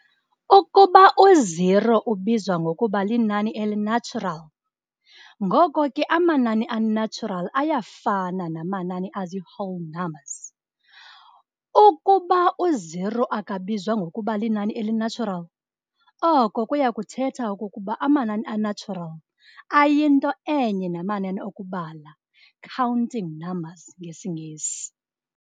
Ukuba u-0 ubizwa ngokuba linani eli-natural, ngoko ke amanani a-natural ayafana namanani azii-whole numbers. Ukuba u-0 akabizwa ngokuba linani eli-natural, oko kuyakuthetha okokuba amanani a-natural ayinto enye namanani okubala, counting numbers ngesiNgesi.